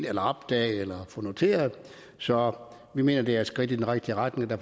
eller opdage eller få noteret så vi mener det er et skridt i den rigtige retning og